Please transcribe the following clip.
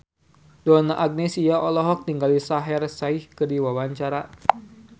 Donna Agnesia olohok ningali Shaheer Sheikh keur diwawancara